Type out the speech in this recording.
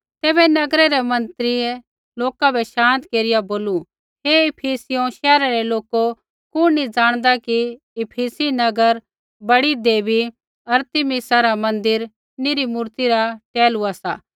तैबै नगरै रै मन्त्रियै लोका बै शान्त केरिया बोलू हे इफिसियों शैहरा रै लोको कुण नी ज़ाणदा कि इफिसी नगर बड़ी देवी अरितमिसा रा मन्दिर निरी मूरता रा टहलुआ सा